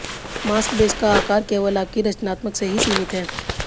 mask base का आकार केवल आपकी रचनात्मकता से ही सीमित है